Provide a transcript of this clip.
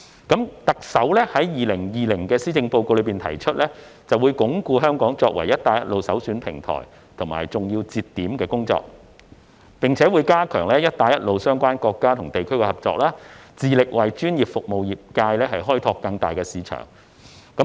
特首在2020年施政報告中提出"會進一步鞏固香港作為'一帶一路'首選平台和重要節點，並加強與'一帶一路'相關國家和地區的合作，致力為業界開拓更大市場。